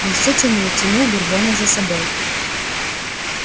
он все тянул тянул бурбона за собой